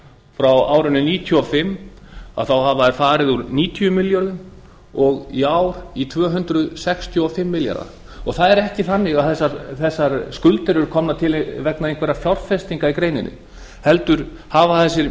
frá árinu nítján hundruð níutíu og fimm hafa þær farið úr níutíu milljörðum og í ár í tvö hundruð sextíu og fimm milljarða það er ekki þannig að þessar skuldir séu komnar til vegna einhverra fjárfestinga í greininni heldur hafa þessir